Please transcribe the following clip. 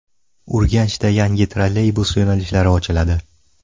Urganchda yangi trolleybus yo‘nalishlari ochiladi.